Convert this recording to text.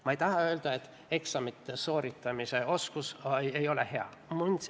Ma ei taha öelda, et eksamite sooritamise oskus ei ole hea.